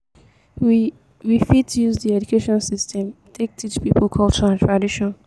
we we fit use di education system take teach pipo culture and tradition